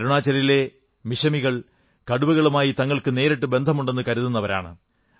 അരുണാചലിലെ മിശമികൾ കടുവകളുമായി തങ്ങൾക്ക് നേരിട്ടു ബന്ധമുണ്ടെന്നു കരുതുന്നവരാണ്